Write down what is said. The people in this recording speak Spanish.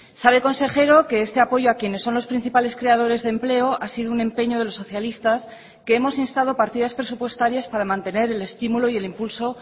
sabe consejero que este apoyo a quienes son los principales creadores de empleo ha sido un empeño de los socialistas que hemos instado partidas presupuestarias para mantener el estimulo y el impulso